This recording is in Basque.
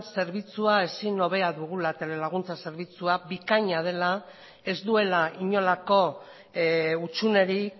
zerbitzu ezinhobea dugula telelaguntza zerbitzua bikaina dela ez duela inolako hutsunerik